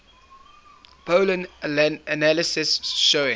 pollen analysis showing